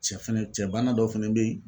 Cɛfɛnɛ cɛ bana dɔ fɛnɛ be yen